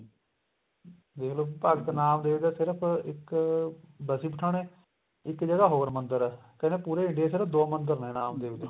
ਦੇਖ ਲੋ ਭਗਤ ਨਾਮ ਦੇਵ ਦਾ ਸਿਰਫ ਇੱਕ ਬਸੀ ਪਠਾਣੇ ਇੱਕ ਜਗ੍ਹਾ ਹੋਰ ਮੰਦਰ ਏ ਕਹਿੰਦੇ ਪੂਰੇ India ਚ ਨਾ ਦੋ ਮੰਦਰ ਨੇ ਨਾਮ ਦੇਵ ਦੇ